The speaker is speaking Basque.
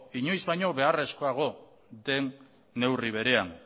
inoiz baino beharrezkoago den neurri berean